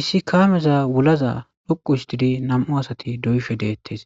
Issi kaameza wulaza loqu histidi nam7u asati do7yishe deettes